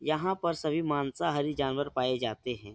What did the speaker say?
यहाँ पर सभी मांसाहारी जानवर पाए जाते हैं।